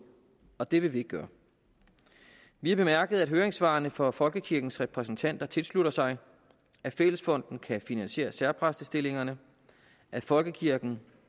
og det vil vi ikke gøre vi har bemærket at høringssvarene fra folkekirkens repræsentanter tilslutter sig at fællesfonden kan finansiere særpræstestillingerne at folkekirken